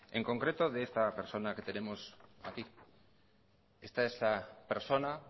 en concreto de esta persona que tenemos aquí esta es la persona